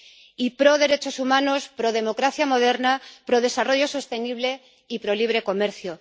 y proderechos humanos, prodemocracia moderna, prodesarrollo sostenible y prolibre comercio.